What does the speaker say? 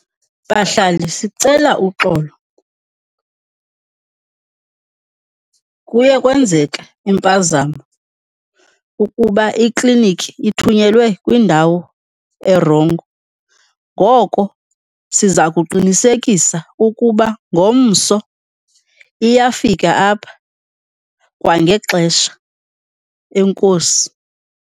Bahlali, sicela uxolo. Kuye kwenzeka impazamo ukuba iklinikhi ithunyelwe kwindawo erongo, ngoko siza kuqinisekisa ukuba ngomso iyafika apha kwangexesha. Enkosi.